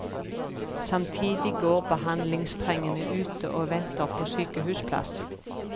Samtidig går behandlingstrengende ute og venter på sykehusplass.